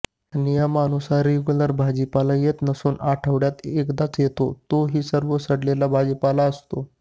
नियमानुसार रेगुलर भाजीपाला येत नसून आठवड्यात एकदा येतो व तोही सर्व सडलेला भाजीपाला असतो